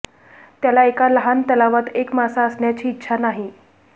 त्याला एका लहान तलावात एक मासा असण्याची इच्छा नाही